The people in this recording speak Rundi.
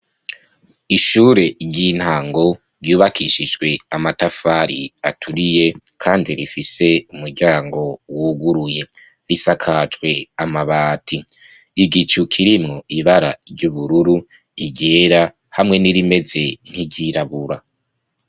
Ishure ry' intango, ryubakishijwe amatafari aturiye, kandi rifise umuryango wuguruye. Risakajwe amabati. Igicu kirimwo ibara ry' ubururu, iryera, hamwe n' irimeze nk' iryirabura.